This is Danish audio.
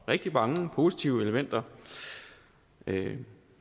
rigtig mange positive elementer man kan